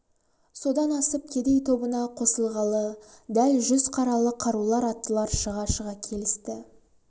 содан асып кедей тобына қосылғалы дәл жүз қаралы қарулы аттылар шыға-шыға келісті